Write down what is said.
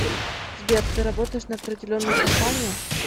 сбер ты работаешь на определенную компанию